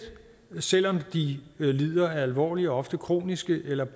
selv om de lider af alvorlige og ofte kroniske eller